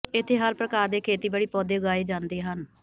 ਇਥੇ ਹਰ ਪ੍ਰਕਾਰ ਦੇ ਖੇਤੀਬਾੜੀ ਪੌਦੇ ਉਗਾਏ ਜਾਂਦੇ ਹਨ